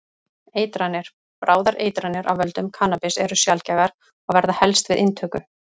Eitranir: Bráðar eitranir af völdum kannabis eru sjaldgæfar og verða helst við inntöku.